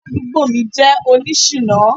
Aládùúgbò mi jẹ́ oní ṣìná.